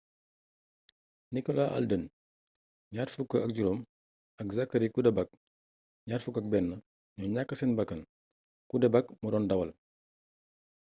nicolas alden,25 ak zachary cuddeback,21 ñoo ñàkk seen bakkan. cuddeback moo doon dawal